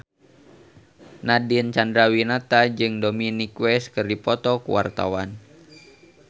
Nadine Chandrawinata jeung Dominic West keur dipoto ku wartawan